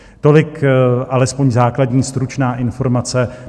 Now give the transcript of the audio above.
Tolik alespoň základní stručná informace.